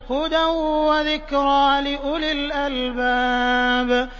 هُدًى وَذِكْرَىٰ لِأُولِي الْأَلْبَابِ